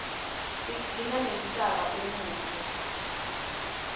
tigcina nemhlaba umuhle